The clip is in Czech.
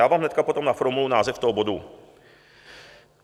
Já vám hned potom naformuluji název toho bodu.